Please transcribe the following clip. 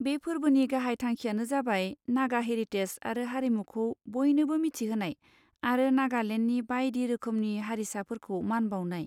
बे फोरबोनि गाहाय थांखिआनो जाबाय नागा हेरिटेज आरो हारिमुखौ बयनोबो मिथिहोनाय आरो नागालेन्डनि बायदि रोखोमनि हारिसाफोरखौ मान बाउनाय।